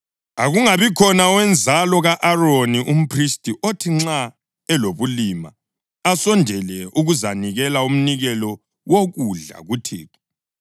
Akungabikhona owenzalo ka-Aroni umphristi othi nxa elobulima asondele ukuzanikela umnikelo wokudla kuThixo.